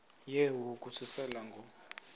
yehu ukususela ngo